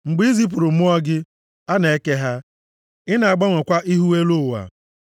Mgbe i zipụrụ mmụọ gị, a na-eke ha; ị na-agbanwekwa ihu elu ụwa.